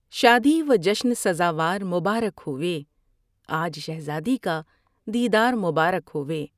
شادی و جشن سزاوار مبارک ہووے آج شہزادی کا دیدار مبارک ہووے